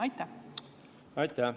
Aitäh!